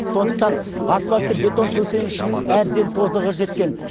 сондықтан асфальтты бетон төсенішінің әбден тозығы жеткен